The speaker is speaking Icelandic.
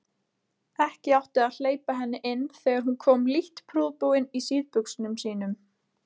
Ekki átti að hleypa henni inn þegar hún kom lítt prúðbúin í síðbuxunum sínum.